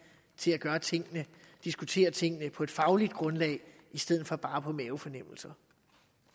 til at diskutere tingene på et fagligt grundlag i stedet for bare ud fra mavefornemmelser